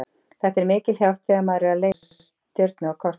Þetta er mikil hjálp þegar maður er að leita að stjörnu á korti.